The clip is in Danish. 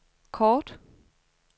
kort